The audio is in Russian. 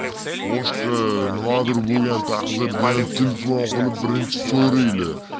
мушка на другой телефон